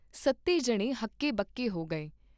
ਸੱਤੇ ਜਣੇ ਹੱਕੇ ਬੱਕੇ ਹੋ ਗਏ।